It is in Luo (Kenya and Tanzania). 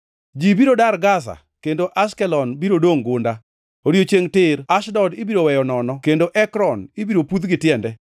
Ji biro dar Gaza, kendo Ashkelon biro dongʼ gunda. Odiechiengʼ tir Ashdod ibiro weyo nono kendo Ekron ibiro pudh gi tiende.